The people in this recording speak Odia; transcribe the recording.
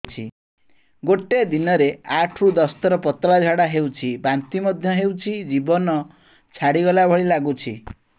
ଗୋଟେ ଦିନରେ ଆଠ ରୁ ଦଶ ଥର ପତଳା ଝାଡା ହେଉଛି ବାନ୍ତି ମଧ୍ୟ ହେଉଛି ଜୀବନ ଛାଡିଗଲା ଭଳି ଲଗୁଛି